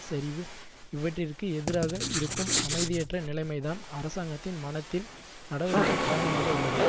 சரிவு இவற்றிற்கு எதிராக இருக்கும் அமைதியற்ற நிலைமைதான் அரசாங்கத்தின் மனத்தில் நடவடிக்கு காரணமாக உள்ளது